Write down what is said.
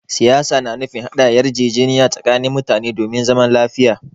Siyasa na nufin haɗa yarjejeniya tsakanin mutane domin zaman lafiya.